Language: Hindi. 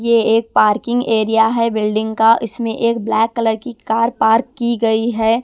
ये एक पार्किंग एरिया है बिल्डिंग का इसमें एक ब्लैक कलर की कार पार्क की गई है।